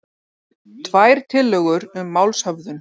Tvær tillögur um málshöfðun